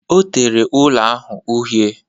Ọ tere ụlọ ahụ uhie